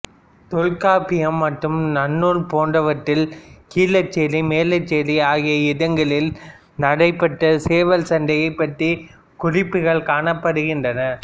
தொல்காப்பியம் மற்றும் நன்னூல் போன்றவற்றில் கீழச்சேரி மேலச்சேரி ஆகிய இடங்களில் நடைபெற்ற சேவல் சண்டையைப் பற்றிய குறிப்புகள் காணப்படுகின்றன